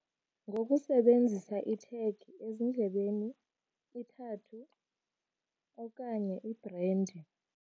Ngokusebenzisa ithegi ezindlebeni, ithathu okanye ibhrendi.